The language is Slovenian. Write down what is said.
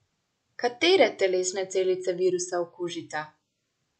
Katere telesne celice virusa okužita?